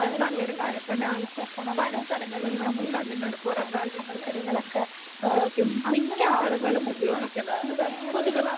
അവര് ജോലിസ്ഥലത്തൂന്ന് വീട്ടിലെത്തണവരെ തീവണ്ടിയിലിരുന്നിട്ട് അവര് പച്ചക്കറികളൊക്കെ മുറിക്കും അങ്ങനെ അവരെ സംബന്ധിച്ചിടത്തോളം പിന്നെ വേറൊരു